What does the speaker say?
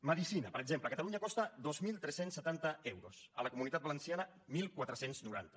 medicina per exemple a catalunya costa dos mil tres cents i setanta euros a la comunitat valenciana catorze noranta